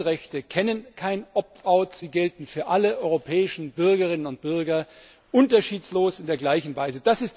Die Grundrechte kennen kein sie gelten für alle europäischen Bürgerinnen und Bürger unterschiedslos in der gleichen Weise.